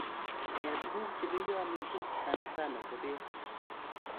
Eeeh tuguk che peya missing, sanasana ko peek